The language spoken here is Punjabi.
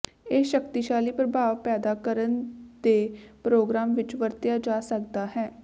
ਇਹ ਸ਼ਕਤੀਸ਼ਾਲੀ ਪ੍ਰਭਾਵ ਪੈਦਾ ਕਰਨ ਦੇ ਪ੍ਰੋਗਰਾਮ ਵਿੱਚ ਵਰਤਿਆ ਜਾ ਸਕਦਾ ਹੈ